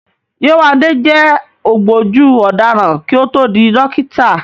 Yéwándé jẹ́ ògbójú ọ̀daràn kí ó tó di dókítà